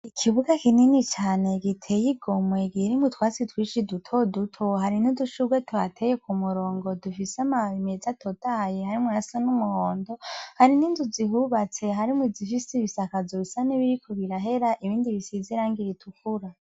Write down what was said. Ikibuga kinini cane giteye igomwe kirimwo utwasi twishi duto duto hari n'udushurwe twateye ku murongo dufise amababi meze atotahaye hari mwo asa n'umuhondo hari n'inzu zihubatse hari mu zifise ibisakaz rusa n'ibiriko birahera ibindi bisize irangi ritukura.